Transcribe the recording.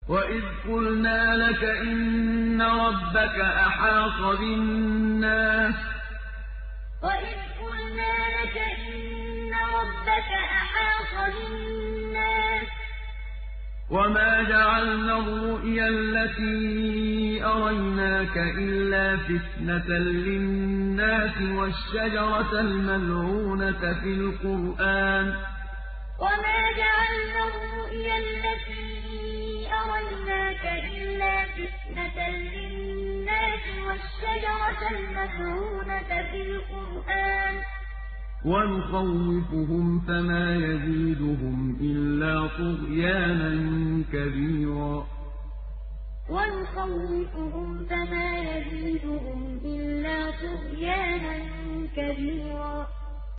وَإِذْ قُلْنَا لَكَ إِنَّ رَبَّكَ أَحَاطَ بِالنَّاسِ ۚ وَمَا جَعَلْنَا الرُّؤْيَا الَّتِي أَرَيْنَاكَ إِلَّا فِتْنَةً لِّلنَّاسِ وَالشَّجَرَةَ الْمَلْعُونَةَ فِي الْقُرْآنِ ۚ وَنُخَوِّفُهُمْ فَمَا يَزِيدُهُمْ إِلَّا طُغْيَانًا كَبِيرًا وَإِذْ قُلْنَا لَكَ إِنَّ رَبَّكَ أَحَاطَ بِالنَّاسِ ۚ وَمَا جَعَلْنَا الرُّؤْيَا الَّتِي أَرَيْنَاكَ إِلَّا فِتْنَةً لِّلنَّاسِ وَالشَّجَرَةَ الْمَلْعُونَةَ فِي الْقُرْآنِ ۚ وَنُخَوِّفُهُمْ فَمَا يَزِيدُهُمْ إِلَّا طُغْيَانًا كَبِيرًا